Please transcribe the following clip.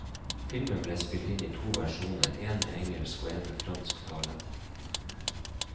Filmen ble spilt inn i to versjoner, en med engelsk og en med fransk tale.